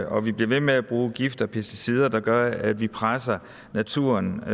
og vi bliver ved med at bruge gifte og pesticider der gør at vi presser naturens